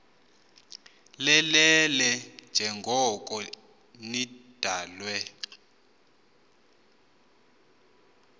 lelele njengoko nidalwe